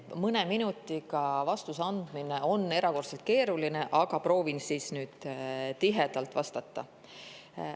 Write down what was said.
Mõne minutiga vastuse andmine on erakordselt keeruline, aga proovin tihedalt vastata.